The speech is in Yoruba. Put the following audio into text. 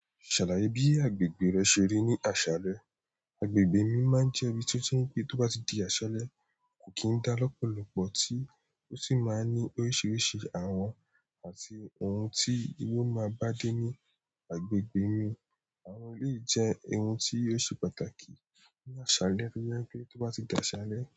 Ṣàlàyé bí agbègbè rẹ ṣe rí ní àṣálẹ́. Agbègbè mi máa ń jẹ́ ibi tó ti n pé tó bá ti di àṣálẹ́ kò kí ń dá lọ́pọ̀lọpọ̀ tí ó sì máa ń ní oríṣiríṣi àwọn àti ohun tí yóò máa bá dé ní agbègbè mi. Àwọn eleyi jẹ́ ẹni tí ò ṣe pàtàkì ní àṣálẹ́ to je i pé tó bá ti di àṣálẹ́.